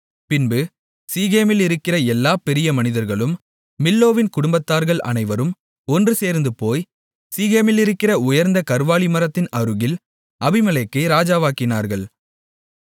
பின்பு சீகேமிலிருக்கிற எல்லா பெரிய மனிதர்களும் மில்லோவின் குடும்பத்தார்கள் அனைவரும் ஒன்றுசேர்ந்து போய் சீகேமிலிருக்கிற உயர்ந்த கர்வாலிமரத்தின் அருகில் அபிமெலேக்கை ராஜாவாக்கினார்கள்